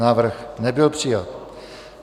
Návrh nebyl přijat.